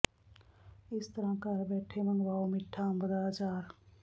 ਇਸ ਤਰ੍ਹਾਂ ਘਰ ਬੈਠੇ ਮੰਗਵਾਓ ਮਿੱਠਾ ਅੰਬ ਦਾ ਅਚਾਰ